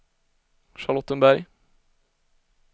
Charlottenberg